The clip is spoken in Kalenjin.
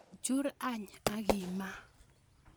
Chur any ak imaa.